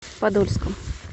подольском